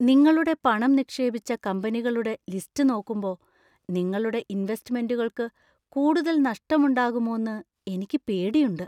നിങ്ങളുടെ പണം നിക്ഷേപിച്ച കമ്പനികളുടെ ലിസ്റ്റ് നോക്കുമ്പോ , നിങ്ങളുടെ ഇൻവെസ്റ്റ്മെൻ്റുകൾക്ക് കൂടുതൽ നഷ്ടം ഉണ്ടാകുമോന്ന് എനിക്ക് പേടിയുണ്ട്.